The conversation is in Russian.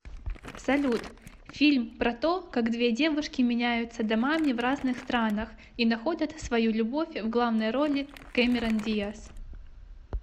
салют фильм про то как две девушки меняются домами в разных странах и находят свою любовь в главной роли кэмерон диас